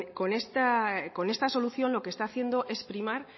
con esta solución lo que está haciendo es primar